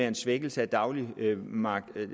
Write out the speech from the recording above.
en svækkelse af dagligvaremarkedet